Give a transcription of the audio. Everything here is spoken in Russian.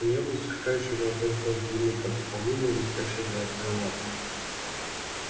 у неё был сверкающий золотой хвост длинный как у павлина и блестящие золотые лапы